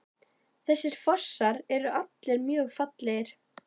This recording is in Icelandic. Þessir fossar eru allir mjög fallegir.